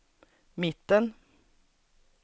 mitten